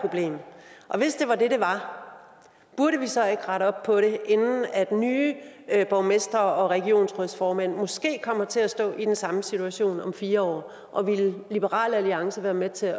problem og hvis det var det det var burde vi så ikke rette op på det inden at nye borgmestre og regionsrådsformænd måske kommer til at stå i den samme situation om fire år og vil liberal alliance være med til